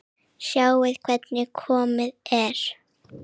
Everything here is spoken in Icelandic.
Sjáðu hvernig komið er.